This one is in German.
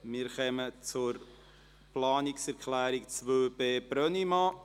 Wir kommen zur Planungserklärung 2b, Brönnimann.